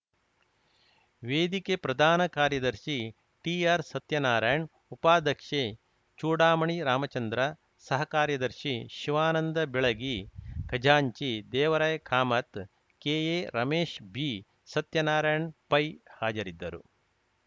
ವೇದಿಕೆ ಪ್ರಧಾನ ಕಾರ್ಯದರ್ಶಿ ಟಿಆರ್‌ ಸತ್ಯನಾರಾಯಣ್‌ ಉಪಾಧ್ಯಕ್ಷೆ ಚೂಡಾಮಣಿ ರಾಮಚಂದ್ರ ಸಹ ಕಾರ್ಯದರ್ಶಿ ಶಿವಾನಂದ ಬೆಳಗಿ ಖಜಾಂಚಿ ದೇವರಾಯ ಕಾಮತ್‌ ಕೆಎ ರಮೇಶ್‌ ಬಿಸತ್ಯನಾರಾಯಣ್ ಪೈ ಹಾಜರಿದ್ದರು